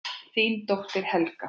Þín dóttir, Helga.